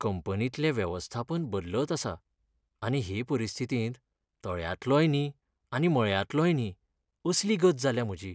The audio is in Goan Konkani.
कंपनींतले वेवस्थापन बदलत आसा, आनी हे परिस्थितींत तळयांतलोय न्ही आनी मळयांतलोय न्ही असली गत जाल्या म्हजी.